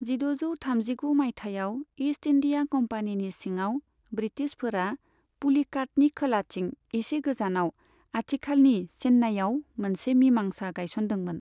जिद'जौ थामजिगु मायथाइयाव इस्ट इन्दिया कम्पानिनि सिङाव ब्रितिशफोरा पुलिकातनि खोलाथिं एसे गोजानाव, आथिखालनि चेननायाव, मोनसे मिमांसा गायसनदोंमोन।